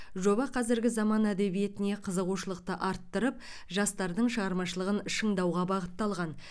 жоба қазіргі заман әдебиетіне қызығушылықты арттырып жастардың шығармашылығын шыңдауға бағытталған